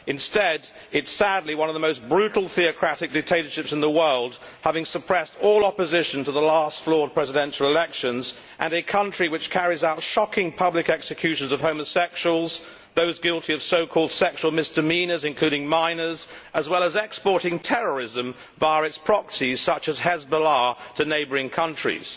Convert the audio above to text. Instead it is sadly one of the most brutal, theocratic dictatorships in the world, having suppressed all opposition to the last flawed presidential elections, and a country which carries out shocking public executions of homosexuals, those guilty of so called sexual misdemeanours, including minors, as well as exporting terrorism via its proxies, such as Hezbollah, to neighbouring countries.